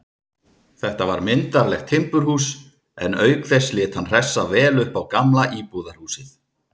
Þetta var myndarlegt timburhús, en auk þess lét hann hressa vel upp á gamla íbúðarhúsið.